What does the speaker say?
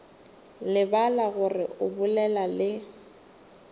lebala gore o bolela le